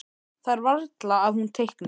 Það er varla að hún teikni.